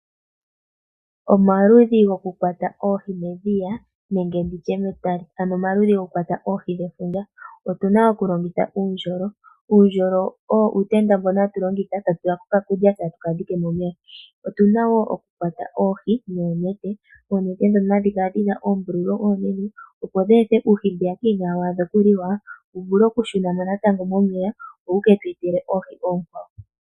Omaludhi gokukwata oohi medhiya nenge oohi dhefundja. Aantu ohaya longitha uundjolo, uutenda mbono omuntu haya tulako okakulya eteka ndjike momeya. Opuna wo okukwata oohi nonete, oonete ndhono hadhi kala dhina oombululu oonene opo dheethe uuhi mbono uushona wu vule oku shuna momeya.